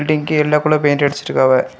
பில்டிங்கி yellow colour paint அடிச்சிருக்காவ.